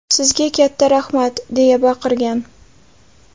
Sizga katta rahmat!” deya baqirgan.